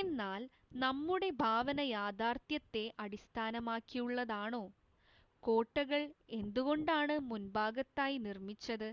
എന്നാൽ നമ്മുടെ ഭാവന യാഥാർത്ഥ്യത്തെ അടിസ്ഥാനമാക്കിയുള്ളതാണോ കോട്ടകൾ എന്തുകൊണ്ടാണ് മുൻഭാഗത്തായി നിർമ്മിച്ചത്